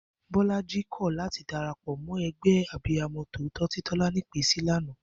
Bó̩la̩jí kò̩ láti darapò̩ mó̩ e̩gbé̩ Abiyamo̩ tòótó tí Tó̩lání pèé sí lánàá